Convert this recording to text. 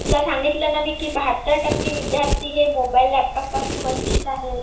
तुला सांगितलं ना मी की बहात्तर टक्के विद्यार्थी हे मोबाईल लॅपटॉप पासून वंचित आहेत.